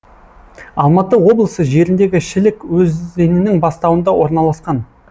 алматы облысы жеріндегі шілік өзеннің бастауында орналасқан